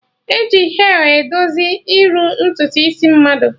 Eji hel edozi iru ntutu isi mmadụ